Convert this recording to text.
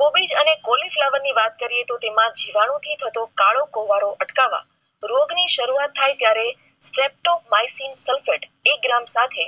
કોબીજ અને કોલેજ લેવા ની વાત કરીએ તો તેમા જીવાણુ થી થતો કાર્ડાકોવાળો અટકાવવા રોગ ની શરુઆત થાય ત્યારે. sulphate એક ગ્રામ સાથે